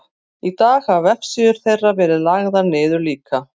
í dag hafa vefsíður þeirra verið lagðar niður líka